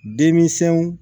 Denmisɛnw